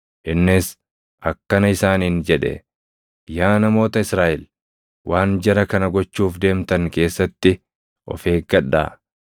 Innis akkana isaaniin jedhe; “Yaa namoota Israaʼel, waan jara kana gochuuf deemtan keessatti of eeggadhaa.